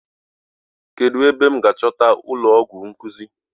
Kedụ ebe m ga ahụ ụlọọgwụ nkuzi?